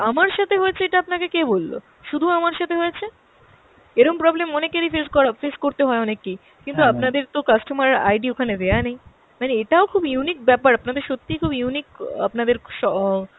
আমার সাথে হয়েছে এটা আপনাকে কে বলল শুধু আমার সাথে হয়েছে ? এরম problem অনেকেরই face করা, face করতে হয় অনেককেই, কিন্তু আপানদের তো customer ID ওখানে দেওয়া নেই, মানে এটাও খুব unique ব্যাপার, আপনাদের সত্যি খুব unique অ্যাঁ আপনাদের স~